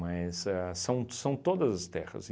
a são são todas as terras.